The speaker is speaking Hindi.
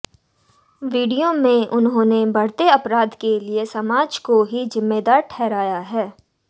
वीडियो में उन्होंने बढ़ते अपराध के लिए समाज को ही जिम्मेदार ठहराया है